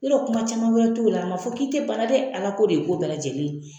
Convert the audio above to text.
Yɔrɔ kuma caman wɛrɛ t'o la a ma fɔ k'i te bana dɛ ala ko de ye ko bɛɛ lajɛlen ye